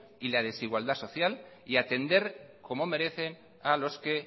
y la desigualdad social y atender como merecen a los que